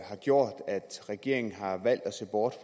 har gjort at regeringen har valgt at se bort